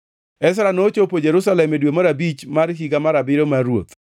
Ezra nochopo Jerusalem e dwe mar abich mar higa mar abiriyo mar ruoth.